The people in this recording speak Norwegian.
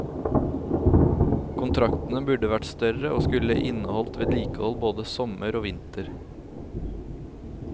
Kontraktene burde vært større, og skulle inneholdt vedlikehold både sommer og vinter.